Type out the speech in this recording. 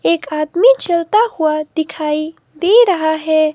एक आदमी चलता हुआ दिखाई दे रहा है।